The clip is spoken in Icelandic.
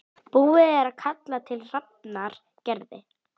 Búið er að kalla til Hafnar Gerði